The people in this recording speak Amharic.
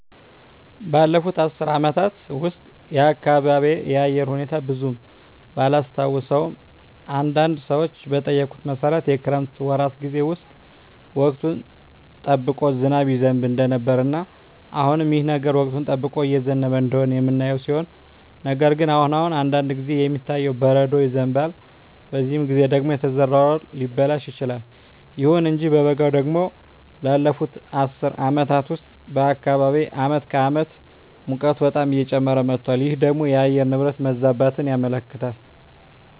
ባለፉት አስር አመታት ውስጥ የአካባቢየ የአየር ሁኔታ ብዙም ባላስታውሰውም አንዳንድ ሰዎችን በጠየኩት መሠረት የክረምት ወራት ጌዜ ውስጥ ወቅቱን ጠብቆ ዝናብ ይዘንብ እንደነበረ እና አሁንም ይህ ነገር ወቅቱን ጠብቆ እየዘነበ እንደሆነ የምናየው ሲሆን ነገር ግን አሁን አሁን አንዳንድ ጊዜ የሚታየው በረዶ ይዘንባል በዚህ ጊዜ ደግሞ የተዘራው እህል ሊበላሽ ይችላል። ይሁን እንጂ በበጋው ደግሞ ባለፋት አስር አመታት ውስጥ በአካባቢየ አመት ከአመት ሙቀቱ በጣም እየጨመረ መጧል ይህ ደግሞ የአየር ንብረት መዛባትን ያመለክታል